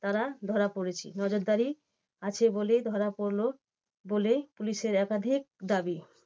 তারা ধরা পড়েছে। নজরদারী আছে বলেই ধরা পড়লো বলে পুলিশের একাধিক দাবী।